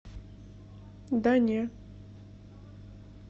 да не